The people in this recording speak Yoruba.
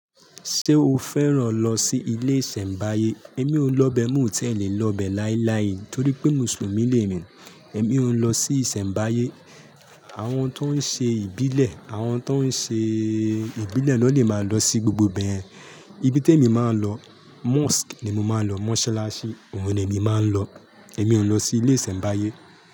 Ṣé o fẹ́ràn lọ sí ilé ìsẹ̀mbáyé? Èmi ò lọ bẹ, mo ò tiẹ lẹ̀ lọ bẹ láíláí torí pé Mùsùlùmí ni èmi. Èmi ò ń lọ sí ìsẹ̀mbáyé. Àwọn tó ń ṣe ìbílẹ̀, àwọn tó ń ṣe ìbílẹ̀ ló lè máa lọ sí gbogbo ibẹ yen. Ibi tèmi máa ń lọ, mosque ni mo máa ń lọ, mosalasi, òun ni èmi máa ń lọ. Èmi ò ń lọ sí ilé ìsẹ̀mbáyé.